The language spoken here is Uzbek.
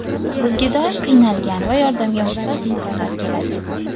Bizga doim qiynalgan va yordamga muhtoj insonlar keladi.